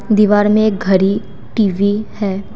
दीवार में एक घड़ी टी_वी है।